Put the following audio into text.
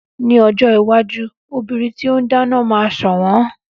Ní ojó iwájú obìnrin tí o n dáná máa sọ̀wọ́n